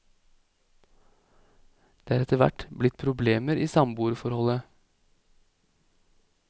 Det er etterhvert blitt problemer i samboerforholdet.